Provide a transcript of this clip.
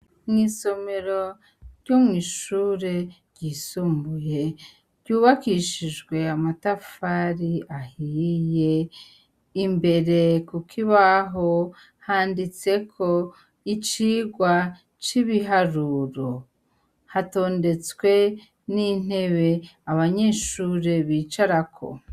Mw'isomero ry'umw'ishure ryisumbuye ryubakishijwe amatafari ahiye imbere, kuko ibaho handitseko icirwa c'ibiharuro hatondetswe n'intewe ae banyeshure bicarako.